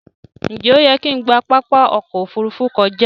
Njé oyè kín gbà Pápá okò ofurufu kọjá?